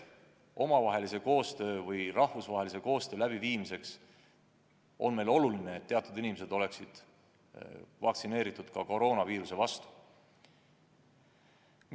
Ja rahvusvahelise koostöö läbiviimiseks on oluline, et teatud inimesed oleksid vaktsineeritud ka koroonaviiruse vastu.